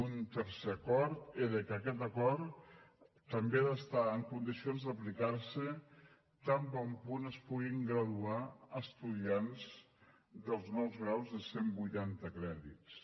un tercer acord era que aquest acord també ha d’estar en condició d’aplicar se tan bon punt es puguin graduar estudiants dels nous graus de cent vuitanta crèdits